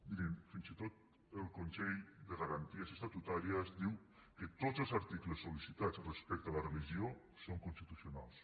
mirin fins i tot el consell de garanties estatutàries diu que tots els articles sol·licitats respecte a la religió són constitucionals